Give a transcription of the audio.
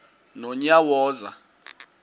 nonyawoza